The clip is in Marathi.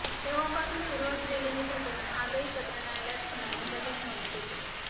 तेव्हापासून सुरू असलेले हे प्रकरण आजही सत्र न्यायालयात सुनावणीसाठी ठेवण्यात येते